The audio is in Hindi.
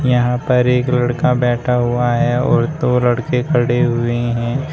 यहां पर एक लड़का बैठा हुआ है और दो लड़के खड़े हुए है।